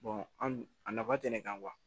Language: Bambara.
an nafa tɛ ne kan